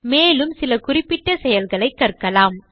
மேலும் சில குறிப்பிட்ட செயல்களை கற்கலாம்